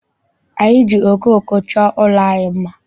Anyị ji okooko chọọ ụlọ anyị mma.